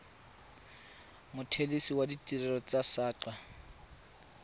mothelesi wa ditirelo tsa saqa